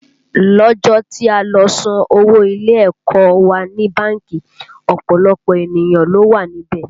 Lọ́jọ́ tí a lọ san owó ilé ẹ̀kọ́ ọ wa ní báńkì, ọ̀pọ̀lọpọ̀ ènìyàn ló wà níbẹ̀